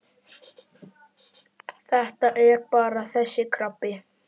Þetta er bara þessi krabbi.